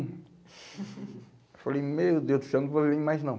Eu falei, meu Deus do céu, não vou viver mais não.